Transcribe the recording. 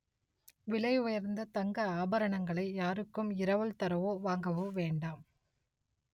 விலை உயர்ந்த தங்க ஆபரணங்களை யாருக்கும் இரவல் தரவோ வாங்வோ வேண்டாம்